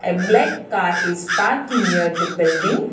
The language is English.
A black car is parked near the building.